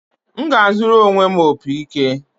M ga-azụrụ onwe m opị ike